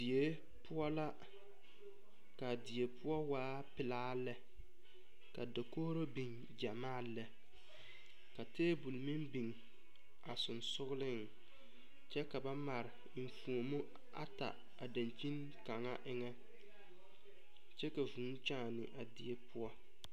Die poɔ la kaa die poɔ waa pilaa lɛ la dakogro biŋ gyamaa lɛ ka tabol meŋ biŋ sɔgsɔgliŋ kyɛ ka na mare eŋfuomo ata a daŋkyen kaŋa eŋa kyɛ ka vuu kyaane a die poɔ.